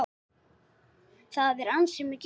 Það er ansi mikið hrós!